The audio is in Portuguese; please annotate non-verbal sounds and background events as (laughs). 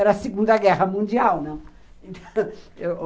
Era a Segunda Guerra Mundial, não? (laughs)